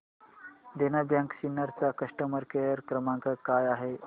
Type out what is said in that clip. देना bank Sinnar चा customer care क्रमांक काय आहे